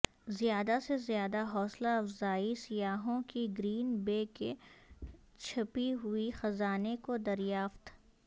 زیادہ سے زیادہ حوصلہ افزائی سیاحوں کی گرین بے کے چھپی ہوئی خزانے کو دریافت